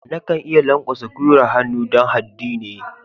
Na kan iya lankwasa gwiwar hannu dan haddi ne.